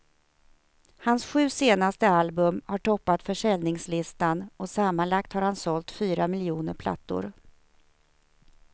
Hans sju senaste album har toppat försäljningslistan och sammanlagt har han sålt fyra miljoner plattor.